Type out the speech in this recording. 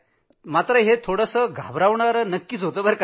तर हे सारं थोडं घाबरवणारं होतं